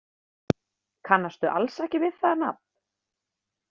Kannastu alls ekki við það nafn?